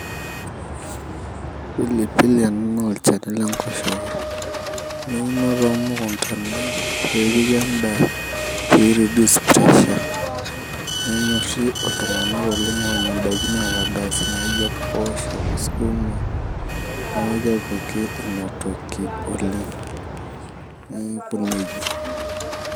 Pilipili ena naa olchani lenkoshoke. Neuno tomukuntani pepiki endaa pi reduce pressure [cs. Nenyorri iltung'anak oleng onyor idaiki naata gas, naijo mpoosho, sukuma, neeku kepiki inatoki oleng. Neeku nejia.